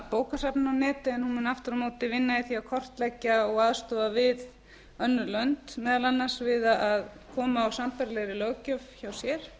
bókasafninu á netið en hún mun aftur á móti vinna í því að kortleggja og aðstoða við önnur lönd meðal annars við að koma á sambærilegri löggjöf hjá sér